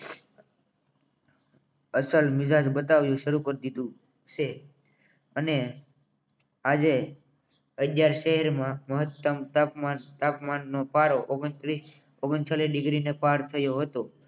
અસલ મિજાજ બતાવી શરૂ કરી દીધું છે અને આજે અગ્યાયાર શહેરમાં મહત્તમ તાપમાન નો પારો ઓગંત્રિસ ઓગ્ણ ચાલિસ્ને ડિગ્રને પાર થયો હતો